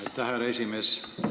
Aitäh, härra esimees!